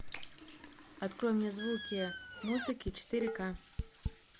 открой мне звуки музыки четыре ка